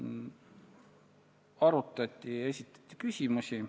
Arutati, esitati küsimusi.